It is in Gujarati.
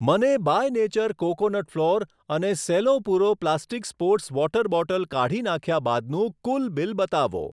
મને બાય નેચર કોકોનટ ફ્લોર અને સેલો પૂરો પ્લાસ્ટિક સ્પોર્ટ્સ વોટર બોટલ કાઢી નાંખ્યા બાદનું કુલ બિલ બતાવો.